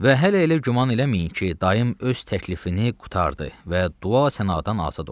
Və hələ elə güman eləməyin ki, dayım öz təklifini qurtardı və dua sənadan azad oldu.